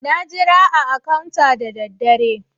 Na jira a " counter" na dade.